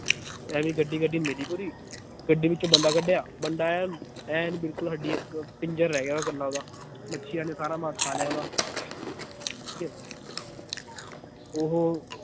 ਐਵੀਂ ਗੱਡੀ ਗੱਡੀ ਮਿਲੀ ਪੂਰੀ ਗੱਡੀ ਵਿਚੋਂ ਬੰਦੇ ਕਢਿਆ ਬੰਦੇ ਐਨ ਐਨ ਬਿਲਕੁਲ ਹੱਡੀ ਇਕ ਪਿੰਜਰ ਰਹਿ ਗਿਆ ਕੱਲਾ ਓਹਦਾ ਮੱਛੀਆਂ ਨੇ ਸਾਰਾ ਮਾਸ ਖਾ ਲਿਆ ਓਹਦਾ ਠੀਕ ਏ ਉਹ